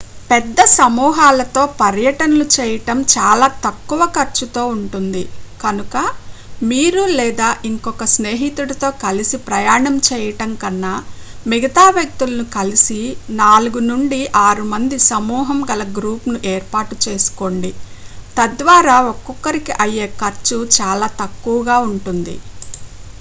పెద్ద సమూహాలతో పర్యటనలు చేయడం చాలా తక్కువ ఖర్చుతో ఉంటుంది కనుక మీరు లేదా ఇంకొక స్నేహితుడితో కలిసి ప్రయాణం చేయడం కన్నా మిగతా వ్యక్తులను కలిసి 4 నుండి 6 మంది సమూహం గల గ్రూప్ను ఏర్పాటు చేసుకోండి తద్వారా ఒకొక్కరికి అయ్యే ఖర్చు చాలా తక్కువగా ఉంటుంది